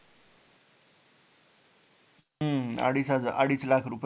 हम्म अडीच हजार अडीच लाख रुपय